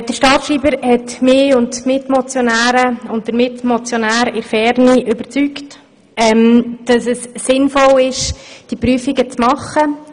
Der Staatsschreiber hat uns Motionärinnen und den Motionär in der Ferne überzeugt, dass es sinnvoll ist, diese Prüfungen vorzunehmen.